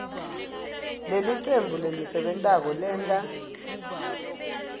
lelicembu lelisebentako lenta